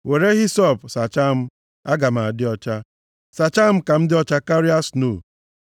Were hisọp + 51:7 Nʼoge mmemme idebe ihe ọcha, ọ bụ ahịhịa hisọp ka a na-eji efesa ọbara. sachaa m, aga m adị ọcha; sachaa m ka m dị ọcha karịa snoo.